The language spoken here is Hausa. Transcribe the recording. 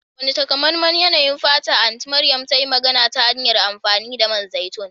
Wane takamaiman yanayin fata Anti Mariam ta yi magana ta hanyar amfani da man zaitun?